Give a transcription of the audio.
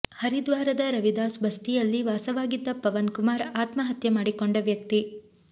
ಹರಿದ್ವಾರದ ರವಿದಾಸ್ ಬಸ್ತಿಯಲ್ಲಿ ವಾಸವಾಗಿದ್ದ ಪವನ್ ಕುಮಾರ್ ಆತ್ಮಹತ್ಯೆ ಮಾಡಿಕೊಂಡ ವ್ಯಕ್ತಿ